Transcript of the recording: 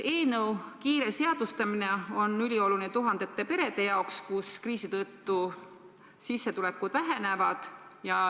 Eelnõu kiire seadustamine on ülioluline tuhandete perede jaoks, kus kriisi tõttu sissetulekud vähenevad.